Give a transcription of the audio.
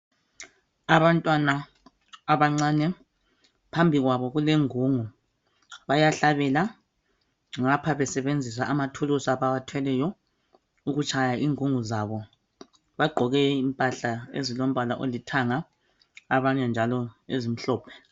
Abantwana abancane, phambi kwabo kulengungu, bayahlabela ngapha besebenzisa amathulusi abawathweleyo ukutshaya ingungu zabo. Bagqoke impahla ezilombala olithanga abanye njalo ezimhlophe.